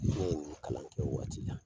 Ne ye nin kalan kɛ o waati la